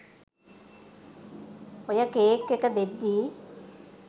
ඔය කේක් එක දෙද්දි